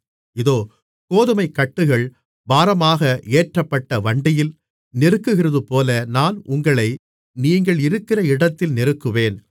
இதோ கோதுமைக்கட்டுகள் பாரமாக ஏற்றப்பட்ட வண்டியில் நெருக்குகிறதுபோல நான் உங்களை நீங்கள் இருக்கிற இடத்தில் நெருக்குவேன்